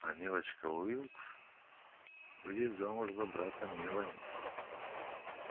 а милочка уилкс выйдет замуж за брата мелани